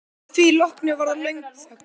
Að því loknu varð löng þögn.